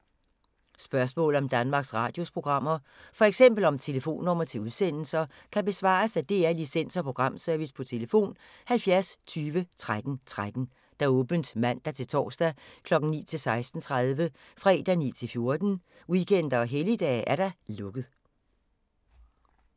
Spørgsmål om Danmarks Radios programmer, f.eks. om telefonnumre til udsendelser, kan besvares af DR Licens- og Programservice: tlf. 70 20 13 13, åbent mandag-torsdag 9.00-16.30, fredag 9.00-14.00, weekender og helligdage: lukket.